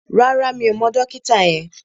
Rárá, mi ò mọ dókítà yẹn